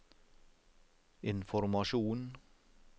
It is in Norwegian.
informasjon